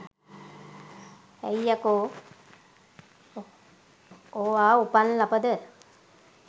ඇයි යකෝ ඔවා උපන් ලපද